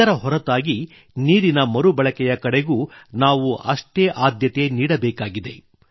ಇದರ ಹೊರತಾಗಿ ನೀರಿನ ಮರುಬಳಕೆಯ ಕಡೆಗೂ ನಾವು ಅಷ್ಟೇ ಆದ್ಯತೆ ನೀಡಬೇಕಾಗಿದೆ